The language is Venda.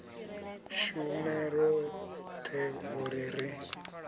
shume roṱhe u ri ri